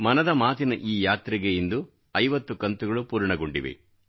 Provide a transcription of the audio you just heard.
ಮನದ ಮಾತಿನ ಈ ಯಾತ್ರೆಗೆ ಇಂದು 50 ಕಂತುಗಳು ಪೂರ್ಣಗೊಂಡಿವೆ